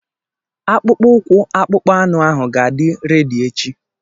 Akpụkpọ ụkwụ akpụkpọ anụ ahụ ga-adị redi echi.